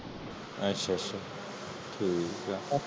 ਅੱਛਾ ਅੱਛਾ ਠੀਕ ਆ